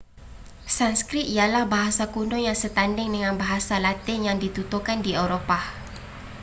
sanskrit ialah bahasa kuno yang setanding dengan bahasa latin yang dituturkan di eropah